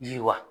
Yiriwa